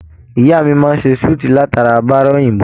Ìyá máa n se sùútí latara bára òyìnbó